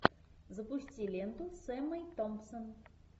запусти ленту с эммой томпсон